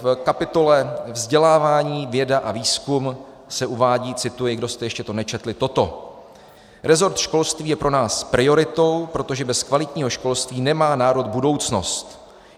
V kapitole Vzdělávání, věda a výzkum se uvádí, cituji, kdo jste to ještě nečetli, toto: Resort školství je pro nás prioritou, protože bez kvalitního školství nemá národ budoucnost.